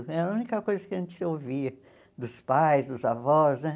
Era a única coisa que a gente ouvia dos pais, dos avós, né?